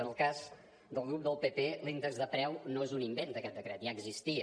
en el cas del grup del pp l’índex de preu no és un invent d’aquest decret ja existia